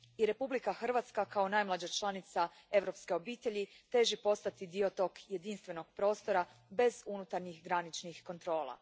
I Republika Hrvatska kao najmlađa članica europske obitelji teži postati dio tog jedinstvenog prostora bez unutarnjih graničnih kontrola.